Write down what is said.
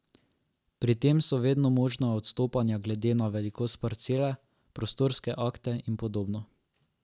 Pri tem so vedno možna odstopanja glede na velikost parcele, prostorske akte in podobno.